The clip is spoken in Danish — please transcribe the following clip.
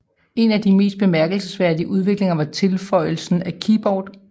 En af de mest bemærkelsesværdige udviklinger var tilføjelsen af keyboard